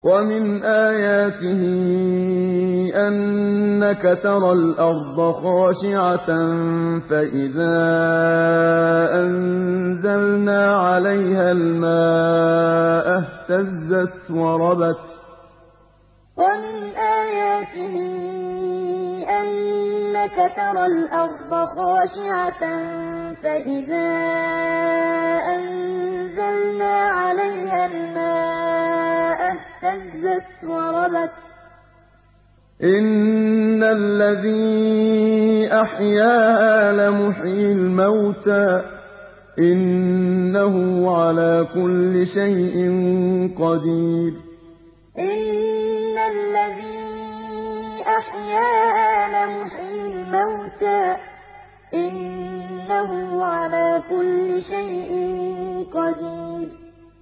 وَمِنْ آيَاتِهِ أَنَّكَ تَرَى الْأَرْضَ خَاشِعَةً فَإِذَا أَنزَلْنَا عَلَيْهَا الْمَاءَ اهْتَزَّتْ وَرَبَتْ ۚ إِنَّ الَّذِي أَحْيَاهَا لَمُحْيِي الْمَوْتَىٰ ۚ إِنَّهُ عَلَىٰ كُلِّ شَيْءٍ قَدِيرٌ وَمِنْ آيَاتِهِ أَنَّكَ تَرَى الْأَرْضَ خَاشِعَةً فَإِذَا أَنزَلْنَا عَلَيْهَا الْمَاءَ اهْتَزَّتْ وَرَبَتْ ۚ إِنَّ الَّذِي أَحْيَاهَا لَمُحْيِي الْمَوْتَىٰ ۚ إِنَّهُ عَلَىٰ كُلِّ شَيْءٍ قَدِيرٌ